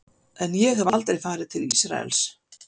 En ég hef aldrei farið til Ísraels.